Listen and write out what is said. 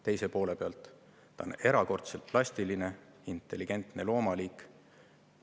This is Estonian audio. Teise poole pealt, ta on erakordselt plastiline, intelligentne loomaliik.